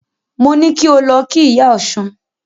Mo ní kí o lọ kí Ìyá Ọ̀ṣun.